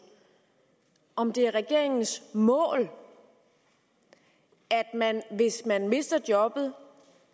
om det er regeringens mål at man hvis man mister jobbet